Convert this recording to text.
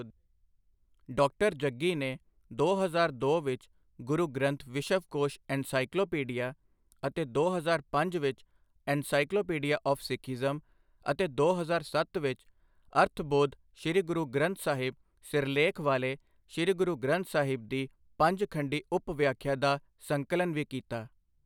Doctor Jaggi ਨੇ ਦੋ ਹਜ਼ਾਰ ਦੋ ਵਿੱਚ ਗੁਰੂ ਗ੍ਰੰਥ ਵਿਸ਼ਵਕੋਸ਼ ਐੱਨਸਾਈਕਲੋਪੀਡੀਆ ਅਤੇ ਦੋ ਹਜ਼ਾਰ ਪੰਜ ਵਿੱਚ ਐੱਨਸਾਈਕਲੋਪੀਡੀਆ ਆਫ ਸਿੱਖਇਜ਼ਮ ਅਤੇ ਦੋ ਹਜ਼ਾਰ ਸੱਤ ਵਿੱਚ ਅਰਥਬੋਧ ਸ੍ਰੀ ਗੁਰੂ ਗ੍ਰੰਥ ਸਾਹਿਬ ਸਿਰਲੇਖ ਵਾਲੇ ਸ੍ਰੀ ਗੁਰੂ ਗ੍ਰੰਥ ਸਾਹਿਬ ਦੀ ਪੰਜ ਖੰਡੀ ਉਪ ਵਿਆਖਿਆ ਦਾ ਸੰਕਲਨ ਵੀ ਕੀਤਾ।